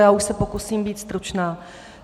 Já už se pokusím být stručná.